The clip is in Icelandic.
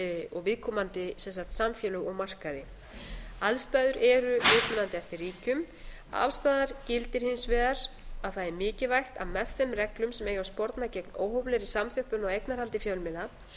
og viðkomandi samfélög og markaði aðstæður eru mismunandi eftir ríkjum alls staðar gildir hins vegar að það er mikilvægt að með þeim reglum sem eiga að sporna gegn óhóflegri samþjöppun á eignarhaldi fjölmiðla